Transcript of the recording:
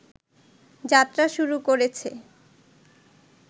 যাত্রা শুরু করেছে